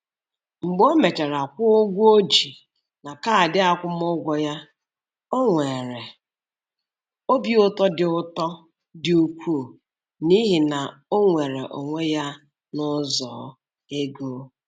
Mgbe o mechara kwụọ ụgwọ o ji na kaadị akwụmụgwọ ya, o nwere obi ụtọ dị ụtọ dị ukwuu n'ihi na o nweere onwe ya n'ụzọ ego.